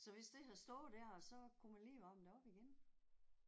Så hvis det havde stået der så kunne man lige varme det op igen